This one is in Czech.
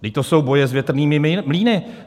Vždyť to jsou boje s větrnými mlýny.